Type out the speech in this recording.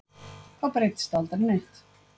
Þá breytist aldrei neitt.